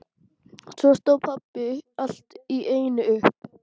Svo stóð pabbi allt í einu upp.